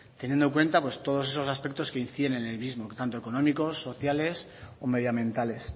teniendo en cuenta todos esos aspectos que inciden en el mismo tanto económicos sociales o medioambientales